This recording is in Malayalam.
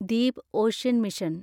deep ocean mission